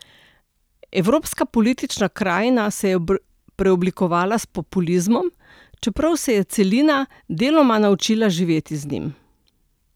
Evropska politična krajina se je preoblikovala s populizmom, čeprav se je celina deloma naučila živeti z njim.